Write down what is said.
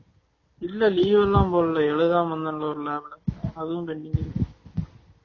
இல்ல leave எல்லாம் போடல எழுதாம இருந்தேன்ல ஒரு நாள் அதும் அடி